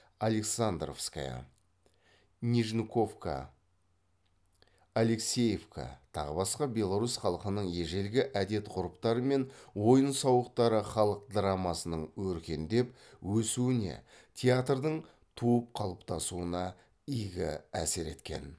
александровская нижниковка алексеевка тағы басқа беларусь халқының ежелгі әдет ғұрыптары мен ойын сауықтары халық драмасының өркендеп өсуіне театрдың туып қалыптасуына игі әсер еткен